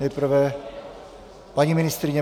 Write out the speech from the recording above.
Nejprve paní ministryně.